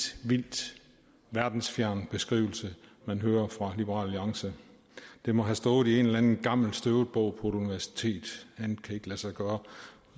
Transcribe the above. vildt verdensfjern beskrivelse man hører fra liberal alliance den må have stået i en eller anden gammel støvet bog på et universitet andet kan ikke lade sig gøre